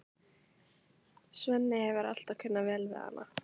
Svenni hefur alltaf kunnað vel við hana.